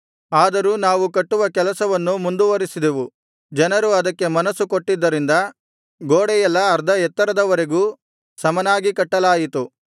ಆದರೂ ನಾವು ಕಟ್ಟುವ ಕೆಲಸವನ್ನು ಮುಂದುವರಿಸಿದೆವು ಜನರು ಅದಕ್ಕೆ ಮನಸ್ಸು ಕೊಟ್ಟಿದ್ದರಿಂದ ಗೋಡೆಯೆಲ್ಲಾ ಅರ್ಧ ಎತ್ತರದವರೆಗೂ ಸಮನಾಗಿ ಕಟ್ಟಲಾಯಿತು